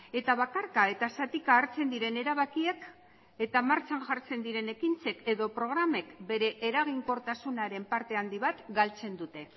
eta bakarka eta zatika hartzen diren erabakiek eta martxan jartzen diren ekintzek edo programek bere eraginkortasunaren parte handi bat galtzen dute